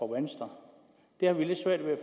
venstre det har vi lidt svært ved